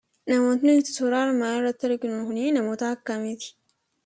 namoonni suuraa kanarratti arginu kan akkamiiti?